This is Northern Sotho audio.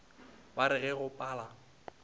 ba re ge go pala